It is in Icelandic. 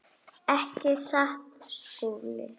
Ekki satt, Skúli?